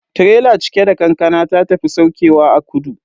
Tirela cike da kankana ta tafi saukewa a kudu.